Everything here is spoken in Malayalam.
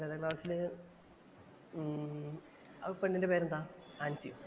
കരോട്ടെ ക്ലാസ്സില് ഉം ആ പെണ്ണിന്‍റെ പേരെന്താ? ആന്‍സിയോ